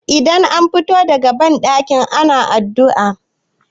idan an fito daga bandaki ana addu'a